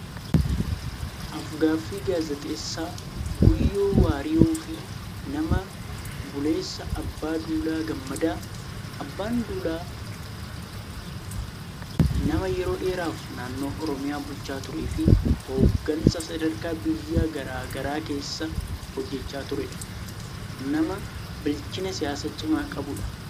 Af-gaaffii gaazexeessaa Guyyoo Waariyoo fi nama buleessa Abbaa duulaa Gammadaa. Abbaan duulaa nama yeroo dheeraaf naannoo Oromiyaa bulchaa turee fi hooggansa sadarkaa biyyaa garaa garaa keessa hojjechaa turedha. Nama bilchina siyaasaa cimaa qabudha.